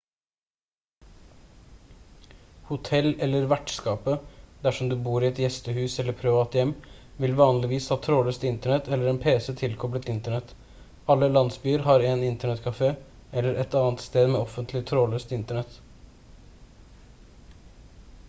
hotell eller vertskapet dersom du bor i et gjestehus eller privat hjem vil vanligvis ha trådløst internett eller en pc tilkoblet internett alle landsbyer har en internettkafé eller et annet sted med offentlig trådløst internett